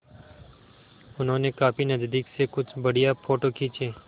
उन्होंने काफी नज़दीक से कुछ बढ़िया फ़ोटो खींचे